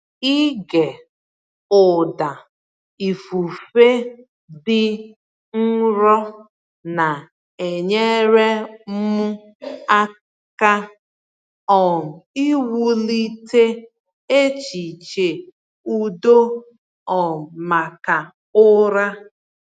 Ịge ụda ifufe dị nro na-enyere m aka um iwulite echiche udo um maka ụra.